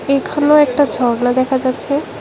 এখানেও একটা ঝর্না দেখা যাচ্ছে।